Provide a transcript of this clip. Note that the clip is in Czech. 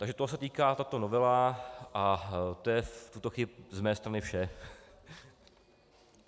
Takže toho se týká tato novela a to je v tuto chvíli z mé strany vše.